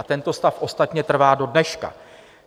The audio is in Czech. A tento stav ostatně trvá do dneška.